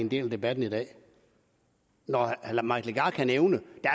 en del af debatten i dag når herre mike legarth kan nævne